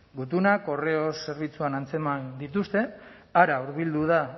gutuna correos zerbitzuan antzeman dituzte hara hurbildu da